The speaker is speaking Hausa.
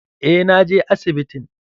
Eh, na je asibitin.